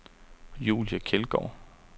Julie Kjeldgaard